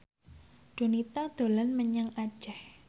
Donita dolan menyang Aceh